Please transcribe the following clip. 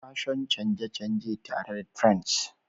Fashion canje-canje tare da trends